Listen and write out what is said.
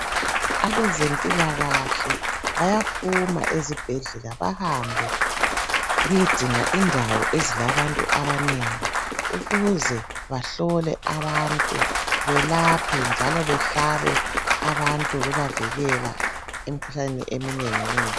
Abezempilakahle bayaphuma ezibhedlela bahambe beyedinga indawo ezilabantu abanengi ukuze bahlole abantu belaphe njalo behlabe abantu bebavikela emkhuhlaneni eminengi nengi.